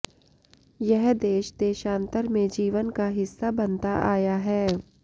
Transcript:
यह देश देशान्तर में जीवन का हिस्सा बनता आया है